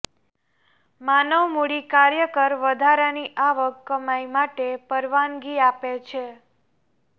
માનવ મૂડી કાર્યકર વધારાની આવક કમાઇ માટે પરવાનગી આપે છે